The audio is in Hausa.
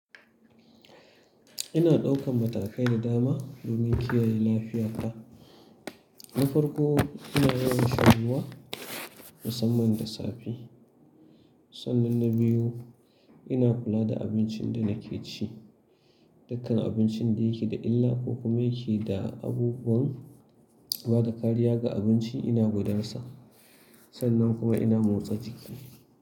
Ina ɗaukan matakai da dama domin kiyaye lafiyata. Na farko, ina yawan sha ruwa musamman da safe. Sannan na biyu, ina kula da abincin da nake ci. Dukkan abincin da yake da illa ko kuma yake da abubuwan bada kariya ga abinci ina gudar sa. Sannan kuma ina motsa jiki.